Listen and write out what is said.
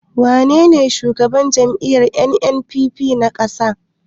Wanene shugaban jam'iyyar NNPP na ƙasa?